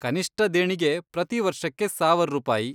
ಕನಿಷ್ಟ ದೇಣಿಗೆ ಪ್ರತಿ ವರ್ಷಕ್ಕೆ ಸಾವರ್ ರೂಪಾಯಿ.